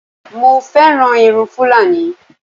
Mo fẹ́ràn irun Fúlàní